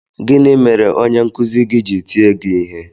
Gịnị mere onye nkụzi gị ji tie gị ihe?